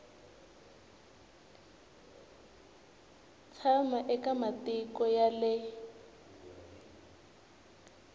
tshama eka matiko ya le